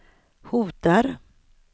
hotar